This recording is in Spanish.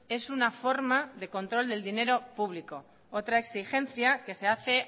es una forma de control del dinero público otra exigencia que se hace